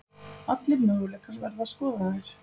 Allir möguleikar verða skoðaðir